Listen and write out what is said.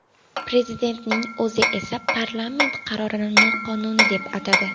Prezidentning o‘zi esa parlament qarorini noqonuniy deb atadi.